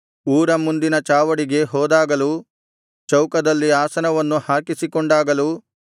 ಊರ ಮುಂದಿನ ಚಾವಡಿಗೆ ಹೋದಾಗಲೂ ಚೌಕದಲ್ಲಿ ಆಸನವನ್ನು ಹಾಕಿಸಿಕೊಂಡಾಗಲೂ